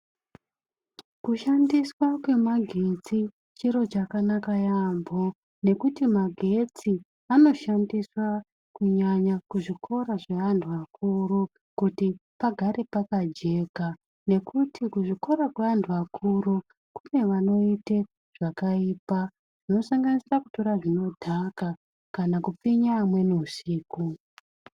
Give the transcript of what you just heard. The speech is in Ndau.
Kushandiswa kwemagetsi chiro chakanaka yaemho nekuti magetsi anoshandiswa kunyanya kuzvikora zvevanhu vakuru kuti pagare pakajeka, ngekuti kuzvikora zvevanhu vakuru kune vanoita zvakaipa, zvinosanganisa kutora zvinodhaka kana kupfinya amweni usiku.